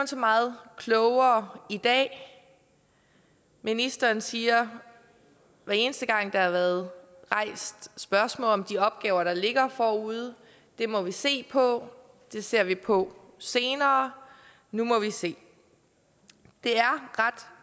så meget klogere i dag ministeren siger hver eneste gang der har været rejst spørgsmål om de opgaver der ligger forude at det må vi se på det ser vi på senere nu må vi se det